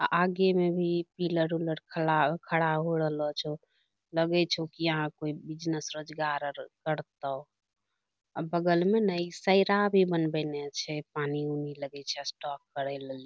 आ आगे मे भी पिलर उलर खड़ा खड़ा हो रहलो छो लगै छो कि यहाँ कोय बिजनस रोजगार आर करतो आ बगल में ने इ एक सैरा भी बनबएने छै पानी-ऊनी लगै छै स्टाॅक करै लेली।